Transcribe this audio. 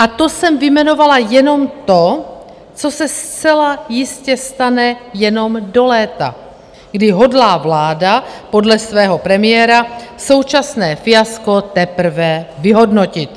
A to jsem vyjmenovala jenom to, co se zcela jistě stane jenom do léta, kdy hodlá vláda podle svého premiéra současné fiasko teprve vyhodnotit.